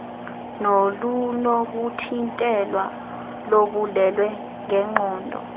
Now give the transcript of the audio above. nolunokuthintelwa lobulwelwe ngenqondo